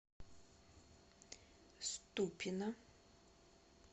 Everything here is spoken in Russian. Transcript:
ступино